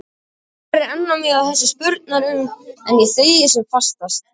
Starir enn á mig þessum spurnaraugum, en ég þegi sem fastast.